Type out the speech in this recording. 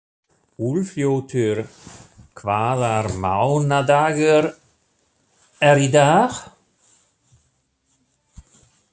Úlfljótur, hvaða mánaðardagur er í dag?